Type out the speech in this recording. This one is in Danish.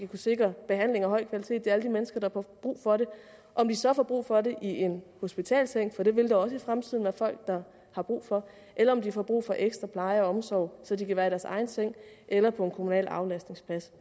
kunne sikre behandling af høj kvalitet til alle de mennesker der får brug for det om de så får brug for det i en hospitalsseng for det vil der også i fremtiden være folk der har brug for eller om de får brug for ekstra pleje og omsorg så de kan være i deres egen seng eller på en kommunal aflastningsplads